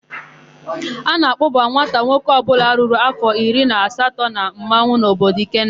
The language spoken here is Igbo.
A na-akpọba nwata nwoke ọbụla ruru áfọ̀ iri na asatọ na mmanwụ n'obodo Ikenna.